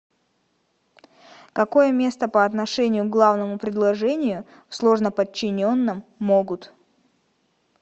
какое место по отношению к главному предложению в сложноподчиненном могут